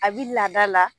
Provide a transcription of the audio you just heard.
A bi laada la